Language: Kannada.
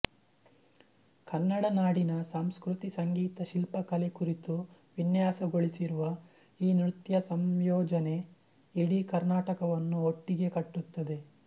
ಕನ್ನಡ ನಾಡಿನ ಸಂಸ್ಕೃತಿ ಸಂಗೀತ ಶಿಲ್ಪಕಲೆ ಕುರಿತು ವಿನ್ಯಾಸಗೊಳಿಸಿರುವ ಈ ನೃತ್ಯ ಸಂಯೋಜನೆ ಇಡೀ ಕರ್ನಾಟಕವನ್ನು ಒಟ್ಟಿಗೆ ಕಟ್ಟುತ್ತದೆ